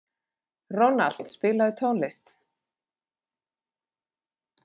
Ronald, spilaðu tónlist.